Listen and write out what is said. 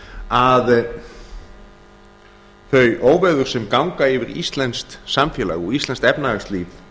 að þau óveður sem ganga yfir íslenskt samfélag og íslenskt efnahagslíf